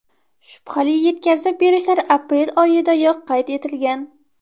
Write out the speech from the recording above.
Shubhali yetkazib berishlar aprel oyidayoq qayd etilgan.